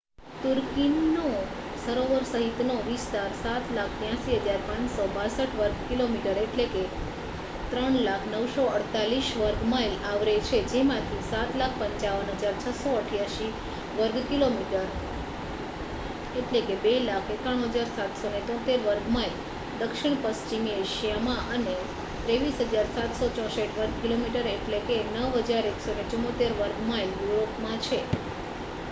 તુર્કીનો સરોવરો સહિતનો વિસ્તાર 7,83,562 વર્ગ કિલોમીટર 300,948 વર્ગ માઇલ આવરે છે જેમાંથી 7,55,688 વર્ગ કિલોમીટર 2,91,773 વર્ગ માઇલ દક્ષિણ પશ્ચિમી એશિયામાં અને 23,764 વર્ગ કિલોમીટર 9,174 વર્ગ માઇલ યુરોપમાં છે